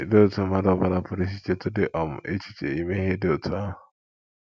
Olee otú mmadụ ọ bụla pụrụ isi chetụdị um echiche ime ihe dị otú ahụ? ”